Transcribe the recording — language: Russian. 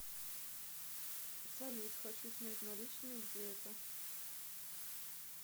салют хочу снять наличные где это